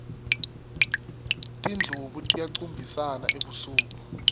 tindlubu tiyacumbisana ebusuku